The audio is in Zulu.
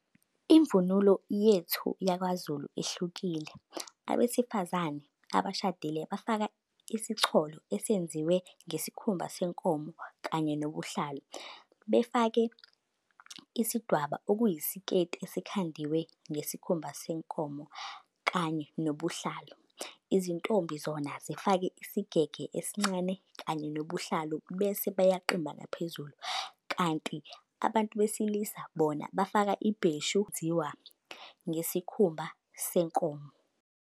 Imvunulo yethu yakwaZulu ihlukile. Abesifazane abashadile bafaka isicholo esenziwe ngesikhumba senkomo kanye nobuhlalu. Befake isidwaba, okuyisiketi esikhandiwe ngesikhumba senkomo kanye nobuhlalu. Izintombi zona zifake isigege esincane kanye nobuhlalu, bese beyaqimba ngaphezulu. Kanti abantu besilisa bona bafaka ibheshu elenziwa ngesikhumba senkomo.